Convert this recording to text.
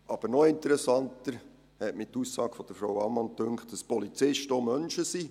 Aber noch interessanter dünkte mich die Aussage von Frau Ammann, dass Polizisten auch Menschen sind.